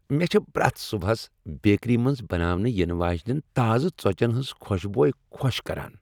مےٚ چِھ پریتھ صبحس بیکری منٛز بناونہٕ ینہٕ واجِنین تازٕ ژوچین ہنز خوشبو خو٘ش كران ۔